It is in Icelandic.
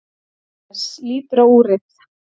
Agnes lítur á úrið.